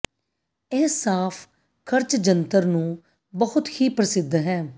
ਇਹ ਸਾਫ਼ ਖਰਚ ਜੰਤਰ ਨੂੰ ਬਹੁਤ ਹੀ ਪ੍ਰਸਿੱਧ ਹੈ